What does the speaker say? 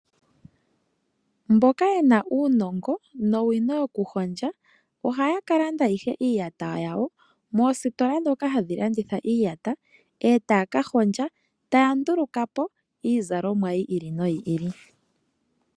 Mboka yena uunongo nowino yokuhondja. Oha ya ka landa ihe iiyata yawo moositola ndhoka hadhi landitha iiyata etaya ka hondja. Eta ya nduluka po iizalomwa yi ili noyi ili.